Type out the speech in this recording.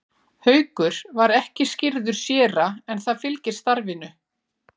Haukur var ekki skírður séra en það fylgir starfinu.